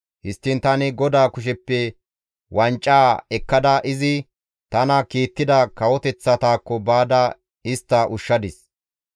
Histtiin tani GODAA kusheppe wancaa ekkada izi tana kiittida kawoteththatakko baada istta ushshadis.